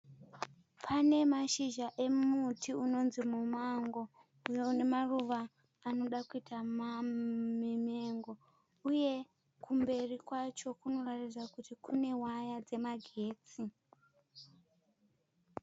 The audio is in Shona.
Pane mashizha emuti unonzi mumango uyo une maruva anoda kuita mamengo uye kumberi kwacho kunoratidza kuti kune waya dzemagetsi.